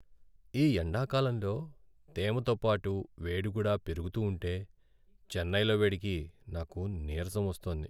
ఈ ఎండాకాలంలో తేమతో పాటు వేడి కూడా పెరగుతూ ఉంటే చెన్నైలో వేడికి నాకు నీరసం వస్తోంది.